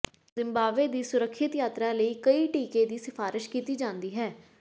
Zimbabwe ਦੀ ਸੁਰੱਖਿਅਤ ਯਾਤਰਾ ਲਈ ਕਈ ਟੀਕੇ ਦੀ ਸਿਫ਼ਾਰਸ਼ ਕੀਤੀ ਜਾਂਦੀ ਹੈ